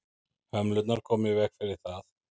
hömlurnar koma í veg fyrir það